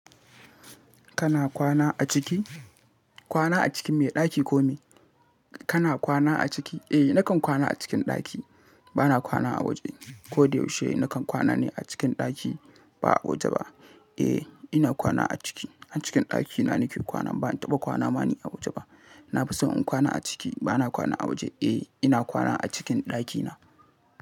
Kana kwana a ciki? Kwana a cikin me? Ɗaki ko me? Kana kwana a ciki? Eh nakan kwana a cikin ɗaki. Bana kwana a waje. Ko da yaushe nakan kwana ne a cikin ɗaki ba a waje ba. Eh ina kwana a ciki. A cikin ɗakina nake kwana. Ban taɓa kwana ba ne a waje ba. Na fi son in kwana a ciki. Bana kwana a waje. Eh ina kwana a cikin ɗakina.